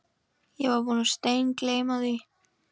Ég var búinn að steingleyma því.